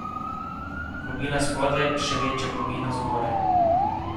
Globina spodaj, še večja globina zgoraj.